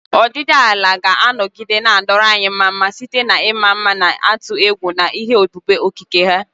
Ọdịdị ala ga-anọgide na-adọrọ anyị mma site n'ịma mma na-atụ egwu na ihe ebube okike ha.